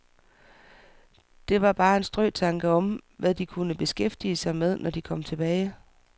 Det var bare en strøtanke om, hvad de kunne beskæftige sig med, når de kom tilbage.